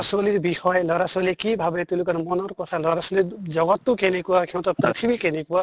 ছʼলীৰ বিষয়ে লʼৰা ছʼলীয়ে কি ভাবে তেওঁলোকৰ মনৰ কথা লʼৰা ছʼলীৰ জগত টো কেনেকুৱা সিহঁতৰ পৃথিৱী কেনেকুৱা